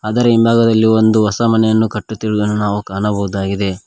ಅದರ ಹಿಂಭಾಗದಲ್ಲಿ ಒಂದು ಹೊಸ ಮನೆಯನ್ನು ಕಟ್ಟುತ್ತಿರುವುದನ್ನು ನಾವು ಕಾಣಬಹುದಾಗಿದೆ.